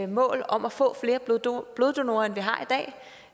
mål om at få flere bloddonorer bloddonorer end vi har i dag